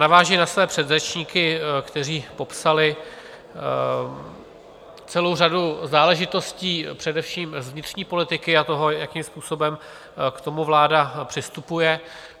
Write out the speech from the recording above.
Navážu na své předřečníky, kteří popsali celou řadu záležitostí především z vnitřní politiky a toho, jakým způsobem k tomu vláda přistupuje.